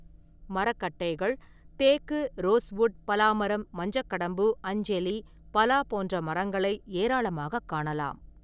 மரக்கட்டைகள், தேக்கு, ரோஸ்வுட், பலா மரம், மஞ்சக்கடம்பு, அஞ்செலி, பலா போன்ற மரங்களை ஏராளமாகக் காணலாம்.